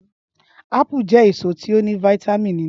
Ápù je èsó ti o ní vítámínì nínú.